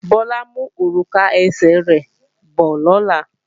Bọ́lá ń mú òrùka ẹsẹ̀ rẹ̀ bọ̀ lọ́la